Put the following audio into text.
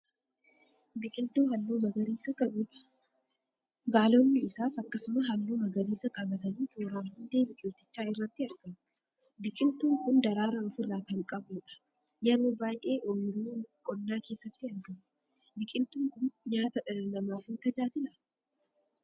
Biqiltuu halluu magariisa qabuudha. Baalonni isaas akkasuma halluu magariisa qabatanii tooraan hundee biqiltichaa irratti argamu. Biqiltuun kun daraaraa ofirraa kan qabuudha. Yeroo baay'ee oyiruu qonnaa keessatti argama. Biqiltuun kun nyaata dhala namaaf ni tajaajilaa?